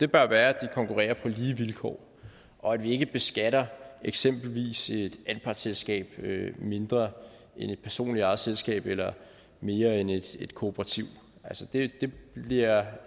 bør være at de konkurrerer på lige vilkår og at vi ikke beskatter eksempelvis et anpartsselskab mindre end et personligt ejet selskab eller mere end et et kooperativ det bliver